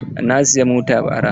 Na siyi mota bara.